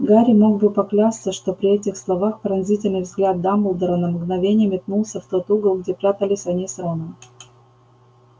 гарри мог бы поклясться что при этих словах поразительный взгляд дамблдора на мгновение метнулся в тот угол где прятались они с роном